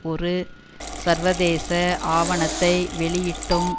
ஒரு சர்வதேச ஆவணத்தை வெளியிட்டும்